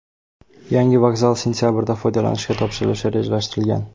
Yangi vokzal sentabrda foydalanishga topshirilishi rejalashtirilgan.